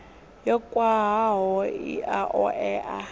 yo khwahaho i a oea